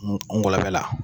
N ngɔlɔbɛ la